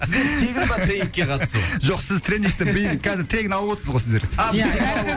тегін ба тренингке қатысу жоқ сіз тренингті қазір тегін алып отырсыз ғой сіздер